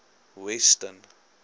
weston